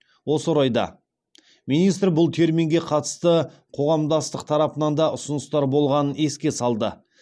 осы орайда министр бұл терминге қатысты қоғамдастық тарапынан да ұсыныстар болғанын еске салды